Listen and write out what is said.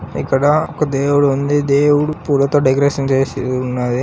ఇక్కడ ఒక దేవుడు ఉంది దేవుడు పూలతో డెకొరేషన్ చేసి ఉన్నది.